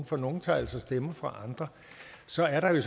for nogle tager altså stemmer fra andre så er der ved